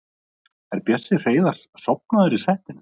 Er Bjössi Hreiðars sofnaður í settinu?